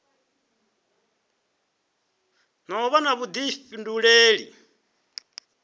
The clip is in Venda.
na u vha na vhuḓifhinduleli